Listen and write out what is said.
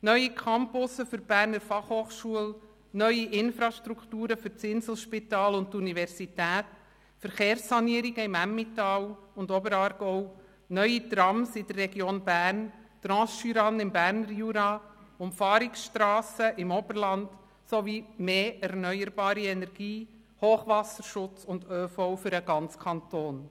Neue Campus für die BFH, neue Infrastrukturen für das Inselspital und die Universität, Verkehrssanierungen im Emmental und im Oberaargau, neue Trams in der Region Bern, die Transjurane im Berner Jura, Umfahrungsstrassen im Oberland sowie mehr erneuerbare Energie, Hochwasserschutz und ÖV für den ganzen Kanton.